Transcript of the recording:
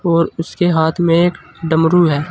और उसके हाथ में एक डमरू है।